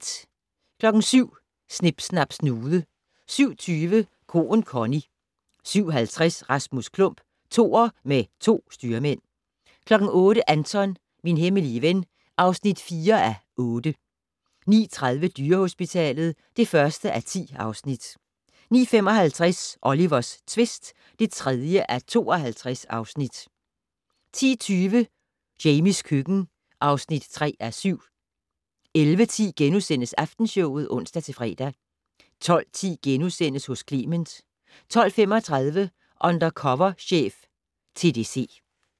07:00: Snip Snap Snude 07:20: Koen Connie 07:50: Rasmus Klump - Toer med to styrmænd 08:00: Anton - min hemmelige ven (4:8) 09:30: Dyrehospitalet (1:10) 09:55: Olivers tvist (3:52) 10:20: Jamies køkken (3:7) 11:10: Aftenshowet *(ons-fre) 12:10: Hos Clement * 12:35: Undercover chef - TDC